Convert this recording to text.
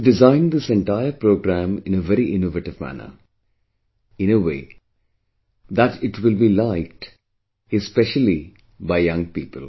You have designed this entire programme in a very innovative manner, in a way that it will be liked, especially by young people